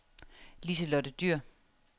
Liselotte Dyhr